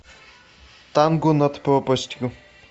танго над пропастью